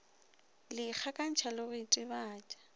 le ikgakantšha le go itebatša